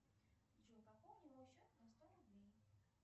джой пополни мой счет на сто рублей